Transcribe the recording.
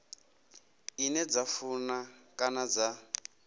ine dza funa kana dza